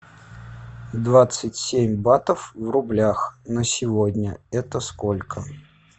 двадцать семь батов в рублях на сегодня это сколько